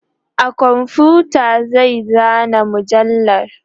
a komfuta zai zana mujallar